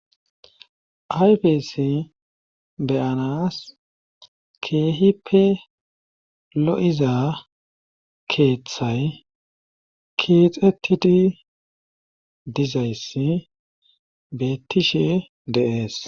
ayfesi beyanas keehippe lo7iza keeththay keexettidi dizayssi beettishe de'es